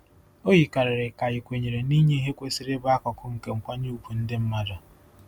O yikarịrị ka ị kwenyere na inye ihe kwesịrị ịbụ akụkụ nke nkwanye ùgwù ndị mmadụ.